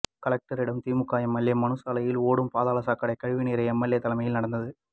கலெக்டரிடம் திமுக எம்எல்ஏ மனு சாலையில் ஓடும் பாதாள சாக்கடை கழிவுநீர் எம்எல்ஏ தலைமையில் நடந்தது